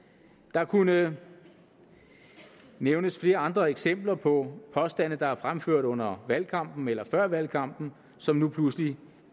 der kunne nævnes flere andre eksempler på påstande der er fremført under valgkampen eller før valgkampen og som nu pludselig